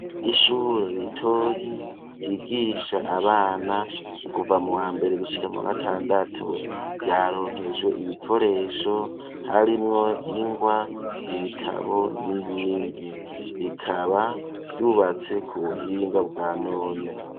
Ishure ritoyi ryigisha abana kuva mu wa mbere gushika mu wa gatandatu, ryaronkejwe ibikoresho harimwo ingwa, ibitabo n'ibindi ,rikaba ryubatse ku buhinga bwa none.